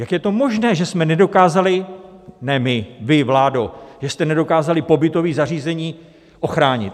Jak je to možné, že jsme nedokázali - ne my, vy, vládo - že jste nedokázali pobytová zařízení ochránit?